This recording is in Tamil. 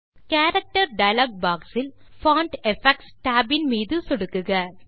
கேரக்டர் டயலாக் பாக்ஸ் இல் பான்ட் எஃபெக்ட்ஸ் tab ஐ சொடுக்கவும்